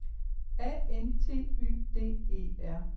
A N T Y D E R